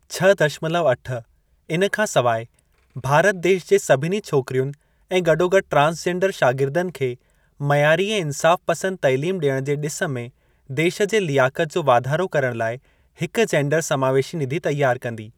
छह दशमलव अठ इन खां सवाइ, भारत देश जे सभिनी छोकिरियुनि ऐं गॾोगॾु ट्रांसजेंडर शागिर्दनि खे मयारी ऐं इंसाफ़ पंसद तइलीम ॾियण जे ॾिस में देश जे लियाकत जो वाधारो करण लाइ हिक 'जेंडर समावेशी निधि' तयार कंदी।